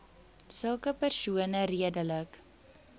sulke persone redelik